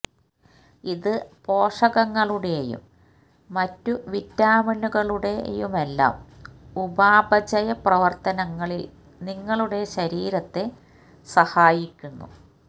ഇത് പോഷകങ്ങളുടെയും മറ്റു വിറ്റാമിനുകളുടെയുമെല്ലാം ഉപാപചയ പ്രവർത്തനങ്ങളിൽ നിങ്ങളുടെ ശരീരത്തെ സഹായിക്കുന്നു